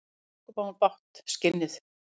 Ósköp á hún bágt, skinnið.